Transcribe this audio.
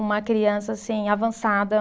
uma criança assim avançada.